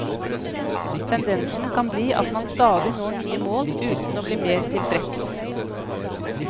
Tendensen kan bli at man stadig når nye mål, uten å bli mer tilfreds.